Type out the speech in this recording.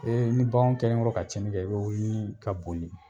Ee ni bagan kɛlenkɔrɔ ka tiɲɛ kɛ i bɛ wuli ka boli